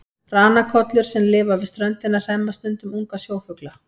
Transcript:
Ranakollur sem lifa við ströndina hremma stundum unga sjófugla.